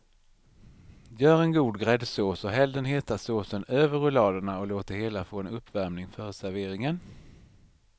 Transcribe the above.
Gör en god gräddsås och häll den heta såsen över rulladerna och låt det hela få en uppvärmning före serveringen.